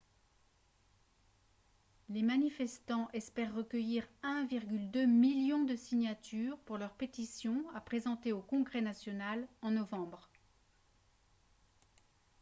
les manifestants espèrent recueillir 1,2 million de signatures pour leur pétition à présenter au congrès national en novembre